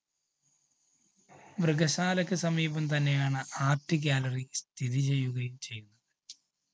മൃഗശാലക്ക് സമീപം തന്നെയാണ് art gallery സ്ഥിതിചെയ്യുകയും ചെയ്യുന്നത്.